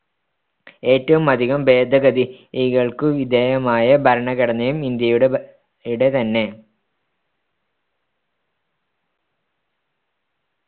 ഏറ്റവും അധികം ഭേദഗതികൾക്കു വിധേയമായ ഭരണഘടനയും ഇന്ത്യയുടെ ടെ തന്നെ